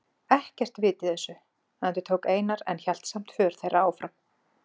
Ekkert vit í þessu, endurtók Einar en hélt samt för þeirra áfram.